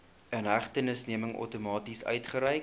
inhegtenisneming outomaties uitgereik